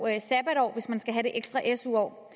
sabbatår hvis man skal have det ekstra su år